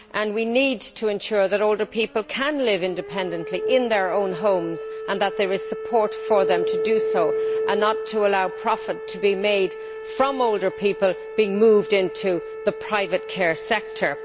We need to ensure that older people can live independently in their own homes and that there is support for them to do so. We should not allow profit to be made from older people being moved into the private care sector.